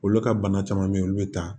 Olu ka bana caman be yen olu be taa